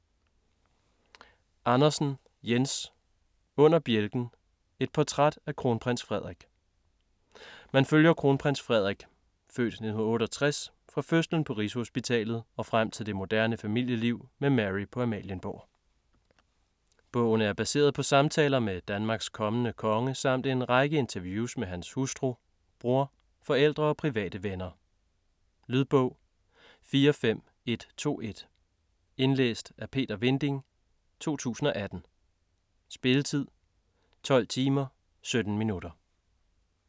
Andersen, Jens: Under bjælken: et portræt af Kronprins Frederik Man følger Kronprins Frederik (f. 1968) fra fødslen på Rigshospitalet og frem til det moderne familieliv med Mary på Amalienborg. Bogen er baseret på samtaler med Danmarks kommende konge samt en lang række interviews med hans hustru, bror, forældre og private venner. Lydbog 45121 Indlæst af Peter Vinding, 2018. Spilletid: 12 timer, 17 minutter.